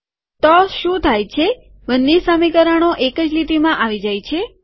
તો શું થાય છે બંને સમીકરણો એક જ લીટીમાં આવી જાય છે